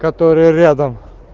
который рядом